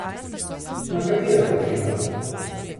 Na katera dva dela?